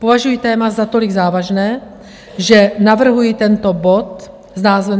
Považuji téma za tolik závažné, že navrhuji tento bod s názvem